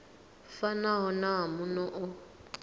fanaho na wa muno u